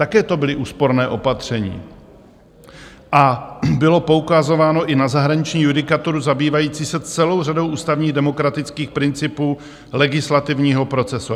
Také to byla úsporná opatření a bylo poukazováno i na zahraniční judikaturu, zabývající se celou řadou ústavních demokratických principů legislativního procesu.